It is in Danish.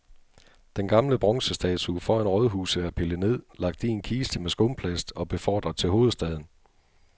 Den gamle bronzestatue foran rådhuset er pillet ned, lagt i en kiste med skumplast og befordret til hovedstaden.